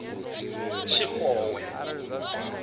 tshixowe